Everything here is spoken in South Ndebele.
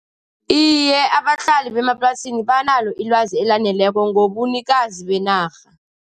Iye, abahlali bemaplasini banalo ilwazi elaneleko ngobunikazi benarha.